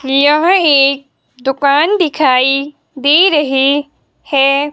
यह एक दुकान दिखाई दे रहे हैं।